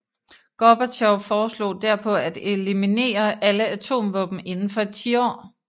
Gorbatjov foreslog derpå at eliminere alle atomvåben inden for et tiår